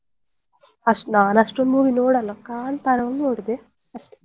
ಅಷ್ಟ್ ನಾನು ಅಷ್ಟೊಂದು movie ನೋಡಲ್ಲ ಕಾಂತರಾ ಒಂದು ನೋಡಿದೆ ಅಷ್ಟೇ.